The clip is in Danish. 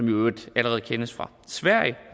i øvrigt allerede kendes fra sverige